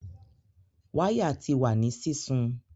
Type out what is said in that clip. Waya ti wa ni sisun